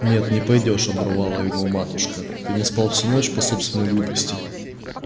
нет не пойдёшь оборвала его матушка ты не спал всю ночь по собственной глупости